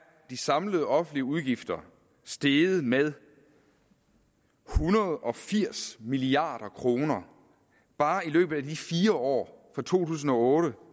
de samlede offentlige udgifter steget med en hundrede og firs milliard kroner bare i løbet af de fire år fra to tusind og otte